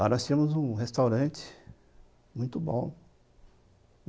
Lá nós tínhamos um restaurante muito bom.